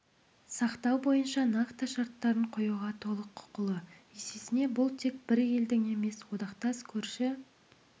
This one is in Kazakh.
сақтау бойынша нақты шарттарын қоюға толық құқылы есесіне бұл тек бір елдің емес одақтас көрші